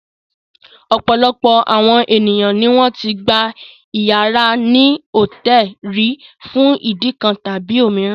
Ọ̀pọ̀lọpọ̀ àwọn ènìyàn ni wọ́n ti gba ìyàrá ní hòtẹ́ẹ́lì rí fún ìdí kan tàbí òmíràn.